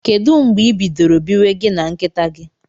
Kedu mgbe ibidoro biwe gi na nkita gi?